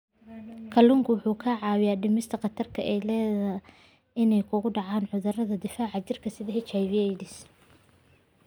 Kalluunku wuxuu caawiyaa dhimista khatarta ah inay ku dhacaan cudurrada difaaca jirka sida HIV/AIDS.